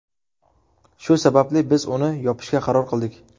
Shu sababli biz uni yopishga qaror qildik.